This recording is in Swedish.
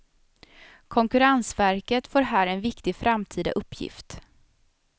Konkurrensverket får här en viktig framtida uppgift.